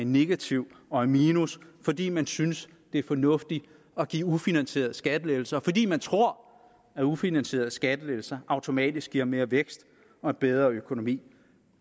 negativ og i minus fordi man synes det er fornuftigt at give ufinansierede skattelettelser fordi man tror at ufinansierede skattelettelser automatisk giver mere vækst og bedre økonomi